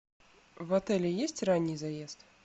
в отеле есть ранний заезд